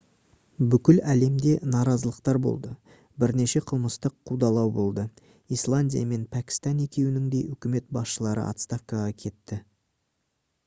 бүкіл әлемде наразылықтар болды бірнеше қылмыстық қудалау болды исландия мен пәкістан екеуінің де үкімет басшылары отставкаға кетті